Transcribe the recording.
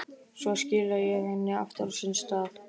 Svo skila ég henni aftur á sinn stað.